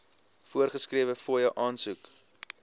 voorgeskrewe fooie aansoek